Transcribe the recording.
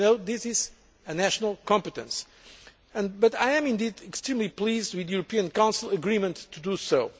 public. As you know, this is a national competence, but I am indeed extremely pleased with the European Council agreement to